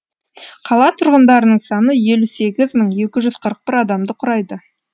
қала тұрғындарының саны елу сегіз мың екі жүз қырық бір адамды құрайды